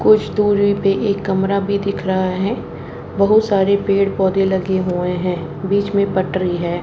कुछ दूरी पे एक कमरा भी दिख रहा है बहुत सारे पेड़ पौधे लगे हुए हैं बीच में पटरी है।